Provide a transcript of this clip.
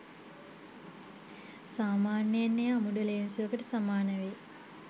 සාමාන්‍යයෙන් එය අමුඩ ලේන්සුවකට සමාන වෙයි.